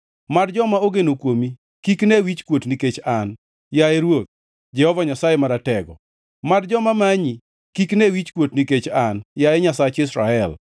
Mad joma ogeno kuomi kik ne wichkuot nikech an, yaye Ruoth, Jehova Nyasaye Maratego; mad joma manyi kik ne wichkuot nikech an, yaye Nyasach Israel.